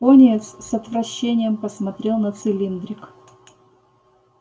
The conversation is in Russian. пониетс с отвращением посмотрел на цилиндрик